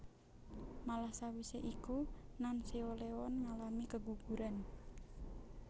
Malah sawise iku Nanseolheon ngalami keguguran